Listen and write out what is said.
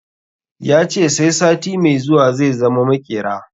Ya ce sai sati mai zuwa zai zama maƙera